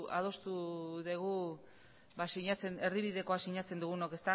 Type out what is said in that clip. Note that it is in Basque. adostu dugu ba erdibidekoa sinatzen dugunok